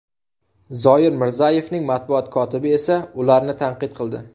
Zoir Mirzayevning matbuot kotibi esa ularni tanqid qildi.